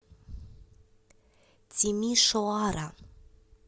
тимишоара